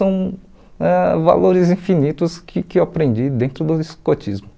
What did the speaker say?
São ãh valores infinitos que que eu aprendi dentro do escotismo.